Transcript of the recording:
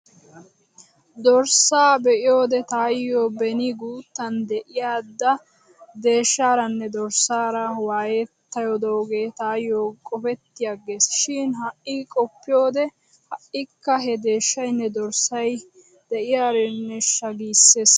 Dorssaa be'iyoode taayyo beni guuttan de'aydaa deeshshaaranne dorssaara waayettidoogee taayyo qofetti aggiis. Shin ha'i qoppiyoode ha'ikka he deeshshaynne dorssay de'eerennesha giissees.